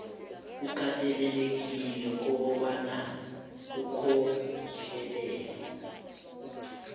ukatelelekile kobana ukhohlelele